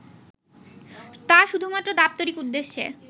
তা শুধুমাত্র দাপ্তরিক উদ্দেশ্যে